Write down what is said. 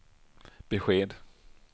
besked